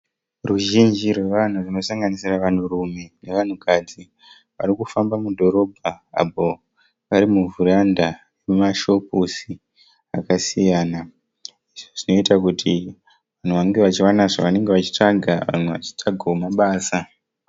Ruzhinji rwavanhu runosanganisira varume nevanhukadzi varikufamba mudhorobha apa vari muvheranda remashopusi akasiyana. Zvinoita kuti vanhu vange vawane zvavanenge vachitsvaga vamwe vachitsvagawo mabasa.